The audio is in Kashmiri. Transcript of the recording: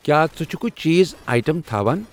کیٛاہ ژٕ چھکھ چیٖز آیٹم تھاوان؟